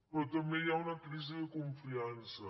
però també hi ha una crisi de confiança